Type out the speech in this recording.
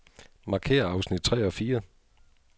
Markér afsnit tre og fire.